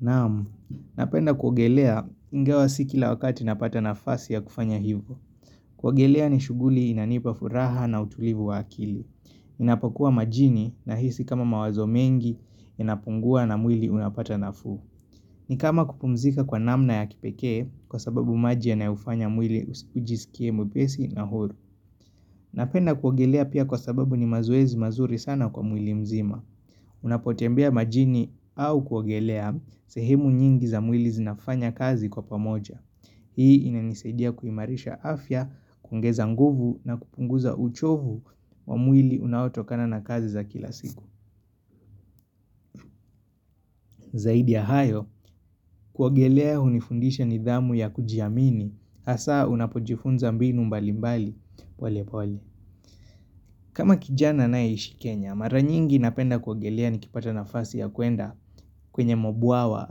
Naam, napenda kuogelea ingawa si kila wakati napata nafasi ya kufanya hivo. Kuogelea ni shughuli inanipa furaha na utulivu wa akili. Ninapokuwa majini nahisi kama mawazo mengi inapungua na mwili unapata nafuu. Ni kama kupumzika kwa namna ya kipekee kwa sababu maji yanayofanya mwili ujisikie mwepesi na horu. Napenda kuogelea pia kwa sababu ni mazoezi mazuri sana kwa mwili mzima. Unapotembea majini au kuogelea sehemu nyingi za mwili zinafanya kazi kwa pamoja Hii inanisaidia kuimarisha afya, kuongeza nguvu na kupunguza uchovu wa mwili unaotokana na kazi za kila siku Zaidi ya hayo, kuogelea hunifundisha nidhamu ya kujiamini asaa unapojifunza mbinu mbalimbali, pole pole kama kijana anayeishi Kenya, mara nyingi napenda kuogelea nikipata nafasi ya kuenda kwenye mabwawa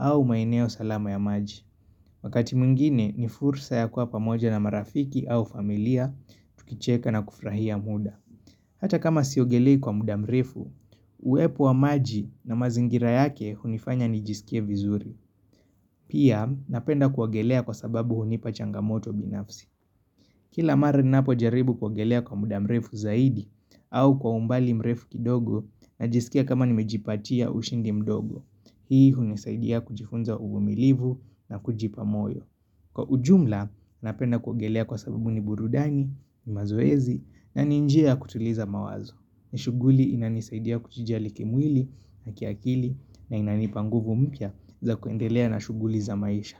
au maeneo salama ya maji. Wakati mwingine ni fursa ya kuwa pamoja na marafiki au familia tukicheka na kufurahia muda. Hata kama siogelei kwa mda mrefu, uwepo wa maji na mazingira yake hunifanya nijiskie vizuri. Pia napenda kuogelea kwa sababu hunipa changamoto binafsi. Kila mara ninapojaribu kuogelea kwa mda mrefu zaidi au kwa umbali mrefu kidogo najiskia kama nimejipatia ushindi mdogo. Hii hunisaidia kujifunza uvumilivu na kujipa moyo. Kwa ujumla, napenda kuogelea kwa sababu ni burudani, mazoezi na ni njia ya kutuliza mawazo. Ni shughuli inanisaidia kujijali kimwili na kiakili na inanipa nguvu mpya za kuendelea na shughuli za maisha.